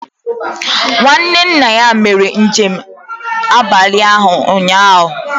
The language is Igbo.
Nwanne nna ya mere njem abalị ụnyahụ